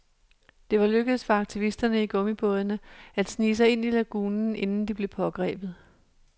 Det var lykkedes for aktivisterne i gummibådene at snige sig ind i lagunen, inden de blev pågrebet.